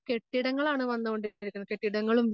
കെട്ടിടങ്ങളാണ് വന്നുകൊണ്ടിരിക്കുന്നത് കെട്ടിടങ്ങളും